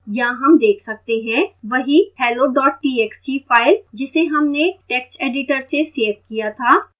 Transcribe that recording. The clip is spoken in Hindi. यहाँ हम देख सकते हैं वही hello txt file जिसे हमने text editor से सेव किया था